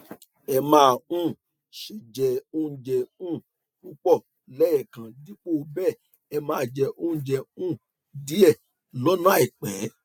ẹ má um ṣe jẹ oúnjẹ um púpọ lẹẹkan dípò bẹẹ ẹ máa jẹ oúnjẹ um díẹ lọnà àìpẹ